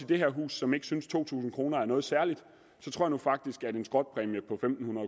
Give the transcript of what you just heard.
det her hus som ikke synes at to tusind kroner er noget særligt så tror jeg faktisk at en skrotpræmie på